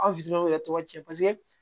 Aw yɛrɛ tɔgɔ tiɲɛ